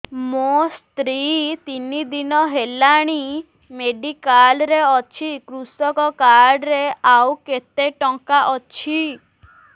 ମୋ ସ୍ତ୍ରୀ ତିନି ଦିନ ହେଲାଣି ମେଡିକାଲ ରେ ଅଛି କୃଷକ କାର୍ଡ ରେ ଆଉ କେତେ ଟଙ୍କା ଅଛି